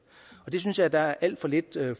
og det synes jeg der er alt for lidt